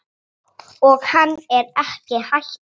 Og hann er ekki hættur.